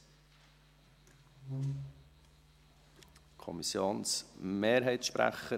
– Ich nehme den Sprecher der Kommissionsmehrheit an die erste Stelle.